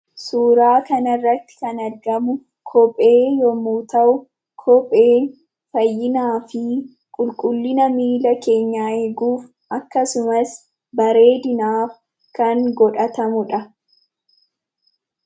Suuraa kanarratti kan argamu kophee yemmu ta'u, kopheen faayinaa fi qulqullina millaa keenyaa eeguu akkasumas, bareedinaf kan godhatamudha.